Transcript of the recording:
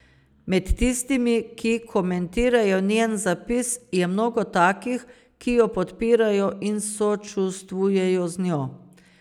Med tistimi, ki komentirajo njen zapis, je mnogo takih, ki jo podpirajo in sočustvujejo z njo.